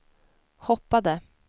hoppade